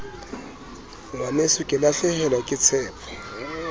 ngwaneso ke lahlehelwa ke tshepo